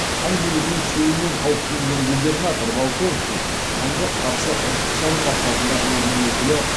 хан билігінің күшеюінен қауіптенген губернатор волконский ханға қарсы іріткі салу мақсатында өзінің өкілі